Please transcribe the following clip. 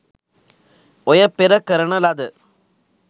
ඔය පෙර කරන ලද